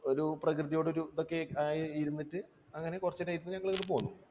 ഒരു പ്രകൃതിയോട് ഒരു ഇതൊക്കെ ആയിരുന്നിട്ട് അങ്ങനെ കുറച്ച് കഴിഞ്ഞിട്ട് ഞങ്ങൾ പോന്നു.